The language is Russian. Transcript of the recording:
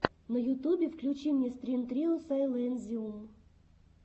на ютубе включи мне стрин трио сайлэнзиум